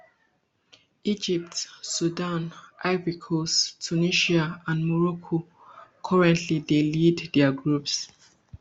egypt sudan ivory coast tunisia and morocco currently dey lead dia groups